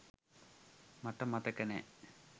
මට මතක නෑ